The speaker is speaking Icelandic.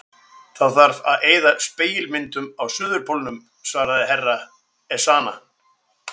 Það þarf að eyða spegilmyndunum á Suðurpólnum, svaraði herra Ezana.